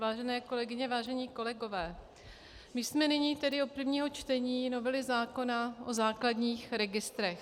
Vážené kolegyně, vážení kolegové, my jsme nyní tedy u prvního čtení novely zákona o základních registrech.